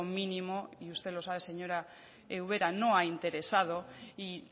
mínimo y usted lo sabe señora ubera no ha interesado y